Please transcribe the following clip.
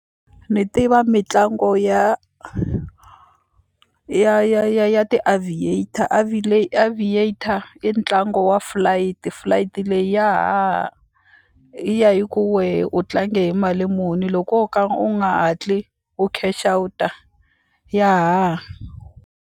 Ni tiva mitlangu ya ya ya ya ti-aviator aviator i ntlangu wa flight, flight leyi ya haha yi ya hi ku wehe u tlange hi mali muni loko wo ka u nga hatli u cash outer ya haha.